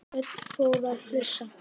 Örn fór að flissa.